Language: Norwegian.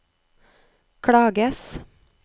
klages